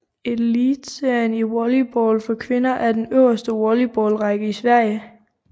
Elitserien i volleyball for kvinder er den øverste volleyballrække i Sverige